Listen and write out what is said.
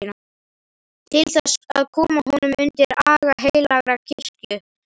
Til þess að koma honum undir aga heilagrar kirkju, vitaskuld!